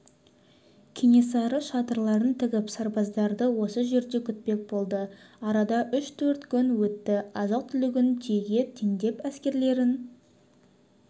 кенесары шатырларын тігіп сарбаздарды осы жерде күтпек болды арада үш-төрт күн өтті азық-түлігін түйеге теңдеп әскерлерін